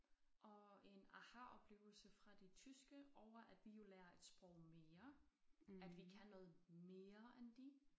Og en ahaoplevelse fra de tyske over at vi jo lærer et sprog mere at vi kan noget mere end de